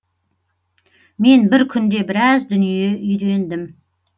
мен бір күнде біраз дүние үйрендім